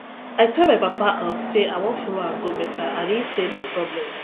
i tell my papa um say i wan follow am go mecca and he say no problem